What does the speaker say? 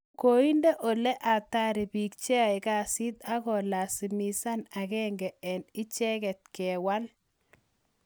koinde ole atari biik che ae kassit ak kolazimishan agenge eng icheget kewal